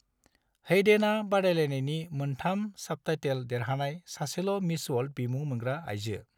हैडेनआ बादायलायनायनि मोनथाम साबटाइटेल देरहानाय सासेल' मिस वर्ल्ड बिमुं मोनग्रा आइजो।